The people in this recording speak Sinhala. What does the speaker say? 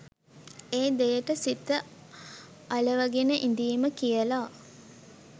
ඒ දෙයට සිත අලවගෙන ඉඳීම කියල.